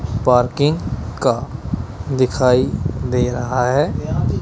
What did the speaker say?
Parking का दिखाई दे रहा है।